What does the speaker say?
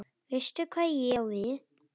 Veistu hvað ég á við?